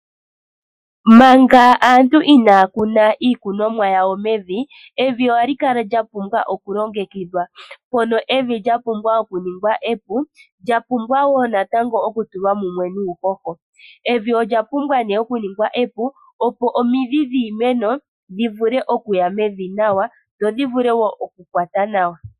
Manga aantu inaya kuna iikunomwa yawo mevi, evi ohali kala lya pumbwa okulongekidhwa, mpono evi lya pumbwa okuningwa epu. Ohali pumbwa wo natango okuvundakanithwa mumwe nuuhoho. Evi olya pumbwa okuningwa epu, opo omidhi dhiimeno dhi vule okuya mevi nawa dho dhi vule wo okukwata nawa.